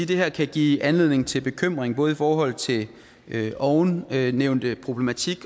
det her kan give anledning til bekymring både i forhold til ovennævnte problematik